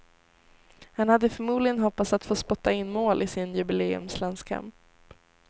Han hade förmodligen hoppats att få spotta in mål i sin jubileumslandskamp.